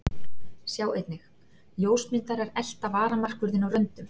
Sjá einnig: Ljósmyndarar elta varamarkvörðinn á röndum